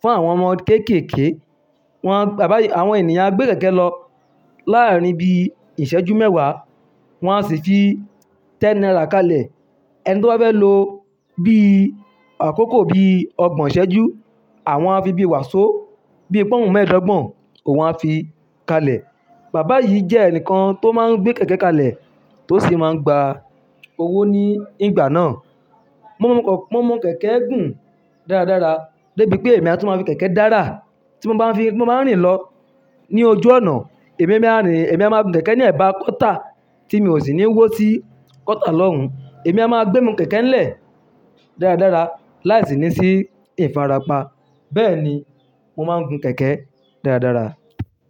fún àwọn ọmọ kéékèèké. Wọn a, bàbá yìí, àwọn ènìyàn á gbé kẹ̀kẹ́ lọ láàárín ibi ìṣẹ́jú mẹ́wàá, wọ́n á sì fi ten naira kalẹ̀. Ẹni tó bá fẹ́ lo bí i àkókò bí i ọgbọ̀n ìṣéjú, àwọn a fi bíi wàsó, bí i pọ́ùn mẹ́ẹ̀ẹ́dọ́gbọ̀n òun a fi kalẹ̀. Bàbá yìí jẹ́ ẹnìkan tó máa ń gbé kẹ̀kẹ́ kalẹ̀ tó sì máa ń gba owó ní ìgbà náà. Mo mọ po, mo mọ kẹ̀kẹ́ gùn dáradára débi pé èmi a tún máa fi kẹ̀kẹ́ dára. Tí mo bá ń fi, mo máa ń rìn lọ ní ojú ọ̀nà. Èmi, èmi a rìn, èmi a máa gun kẹ̀kẹ́ ní ẹ̀bá kota tí mi ò sì ní wó sí kọ́tà lọ́hun. Èmi a máa gbé imu kẹ̀kẹ́ ń lè dáradára láìsí ní sí ìfarapa. Bẹ́ẹ̀ni, mo máa ń gun kẹ̀kẹ́ dáradára.